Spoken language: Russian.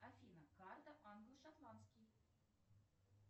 афина карта англо шотландский